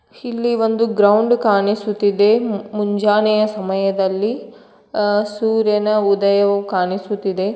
ಇಲ್ಲಿ ಒಂದು ಗ್ರೌಂಡ್ ಕಾಣಿಸುತಿದೆ ಮು- ಮುಂಜಾನೆಯ ಸಮಯದಲ್ಲಿ ಅ- ಸೂರ್ಯನ ಉದಯವು ಕಾಣಿಸುತ್ತಿದೆ.